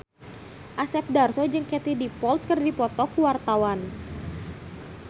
Asep Darso jeung Katie Dippold keur dipoto ku wartawan